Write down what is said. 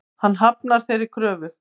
Hann hafnar þeirri kröfu.